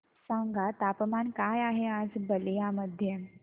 सांगा तापमान काय आहे आज बलिया मध्ये